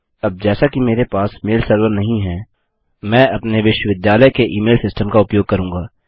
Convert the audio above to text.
अब जैसा कि मेरे पास मेल सर्वर नहीं है मैं अपने विश्वविद्यालय के ई मेल सिस्टम का उपयोग करूँगा